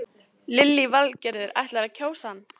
Lillý Valgerður: Ætlarðu að kjósa hann?